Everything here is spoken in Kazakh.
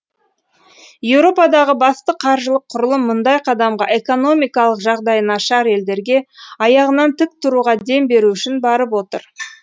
еуропадағы басты қаржылық құрылым мұндай қадамға экономикалық жағдайы нашар елдерге аяғынан тік тұруға дем беру үшін барып отыр